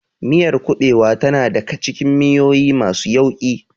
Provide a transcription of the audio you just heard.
Miyar kuɓewa tana daka cikin miyoyi masu yauƙi.